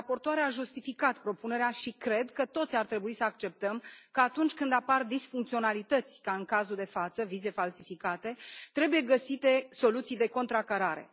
Raportoarea a justificat propunerea și cred că toți ar trebui să acceptăm că atunci când apar disfuncționalități ca în cazul de față, vize falsificate, trebuie găsite soluții de contracarare.